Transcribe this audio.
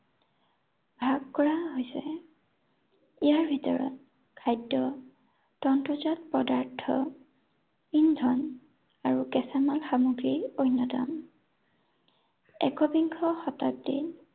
ভাগ কৰা হৈছে। ইয়াৰ ভিতৰত খাদ্য়, তন্ত্ৰজাত পদাৰ্থ, ইন্ধন আৰু কেঁচামাল সামগ্ৰী অন্য়তম। একবিংশ শতাব্দী